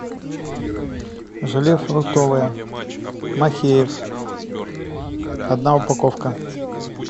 желе фруктовое махеев одна упаковка